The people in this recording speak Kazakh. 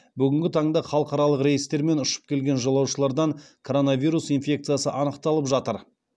бүгінгі таңда халықаралық рейстермен ұшып келген жолаушылардан короновирус инфекциясы анықталып жатыр